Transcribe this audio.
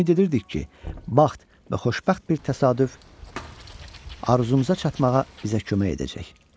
Ümid edirdik ki, bəxt və xoşbəxt bir təsadüf arzumuza çatmağa bizə kömək edəcək.